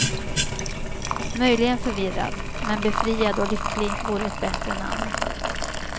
Möjligen förvirrad, men befriad och lycklig vore ett bättre namn.